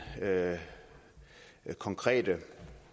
konkrete